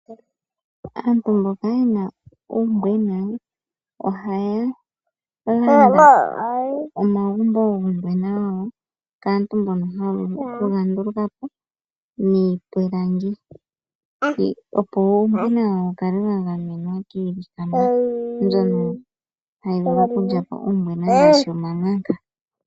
Aantu mboka yena uumbweba ohaya landa omagumbo guumbwena wawo kaantu mbono haye ga ndulukapo niipilangi, opo uumbwena wawo wukale wa gamenwa kiinima mbyono hayi vulu oku wulya.